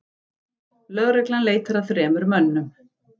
Lögreglan leitar að þremur mönnum